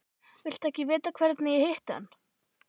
Viltu ekki vita hvernig ég hitti hann?